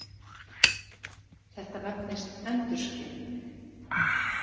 Þetta nefnist endurskin.